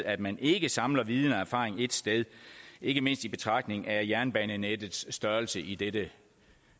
at man ikke samler viden og erfaring ét sted ikke mindst i betragtning af jernbanenettets størrelse i dette